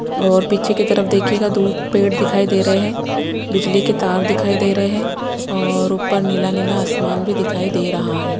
और पीछे की तरफ देखिएगा दूर पेड़ दिखाई दे रहे हैं बिजली के तार दिखाई दे रहे हैं और ऊपर नीला-नीला आसमान भी दिखाई दे रहा है।